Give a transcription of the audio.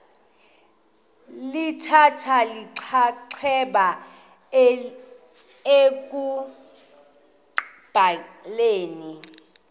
lithatha inxaxheba ekubhaleni